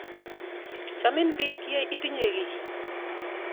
Chamin piik ye itinye ki.